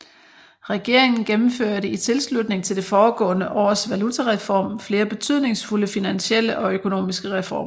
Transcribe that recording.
Regeringen gennemførte i tilslutning til det foregående års valutareform flere betydningsfulde finansielle og økonomiske reformer